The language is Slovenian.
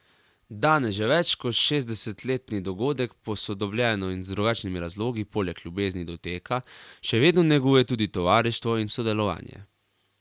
Danes že več kot šestdesetletni dogodek posodobljeno in z drugačnimi razlogi, poleg ljubezni do teka, še vedno neguje tudi tovarištvo in sodelovanje.